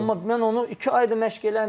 Yox, amma mən onu iki aydır məşq eləməyib.